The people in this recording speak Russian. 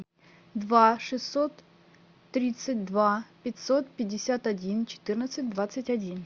два шестьсот тридцать два пятьсот пятьдесят один четырнадцать двадцать один